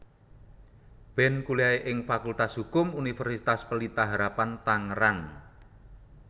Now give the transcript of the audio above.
Ben kuliah ing Fakultas Hukum Universitas Pelita Harapan Tangerang